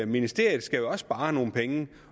ministeriet skal spare nogle penge